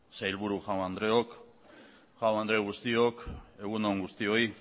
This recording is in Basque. sailburu jaun andreok jaun andre guztiok egun on guztioi